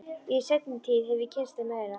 Í seinni tíð hef ég kynnst þeim meira.